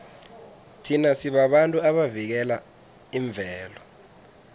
thina sibabantu abavikela imvelo